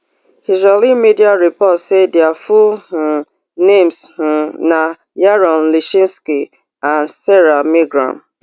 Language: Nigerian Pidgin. israeli media report say dia full um names um na yaron lischinsky and sarah milgram